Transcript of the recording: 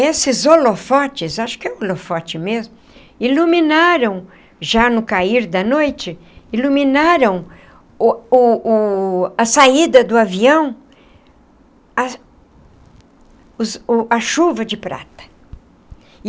Esses holofotes... acho que é um holofote mesmo... iluminaram... já no cair da noite... iluminaram...o o o a saída do avião... a os a chuva de prata.